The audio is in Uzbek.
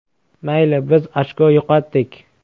Mayli, biz ochko yo‘qotdik.